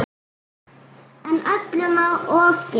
En öllu má ofgera.